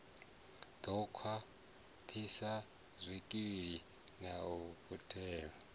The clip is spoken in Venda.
ḓo khwaṱhisa zwikili na mutheo